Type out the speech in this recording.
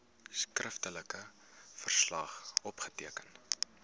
skriftelike verslag opgeteken